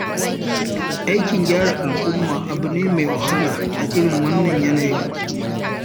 Aikin gyara al'umma abu ne mai wahala a irin wannan yanayin.